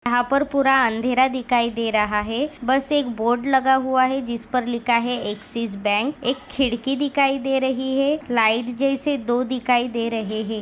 यहा पर पुरा अंधेरा दिखाई दे रहा है। बस एक बोर्ड लगा हूआ है। जिसपर लिखा है एक्सिस बँक एक खिडकी दिखाई दे रही है। लाइट जैसे दो दिखाई दे रहे है।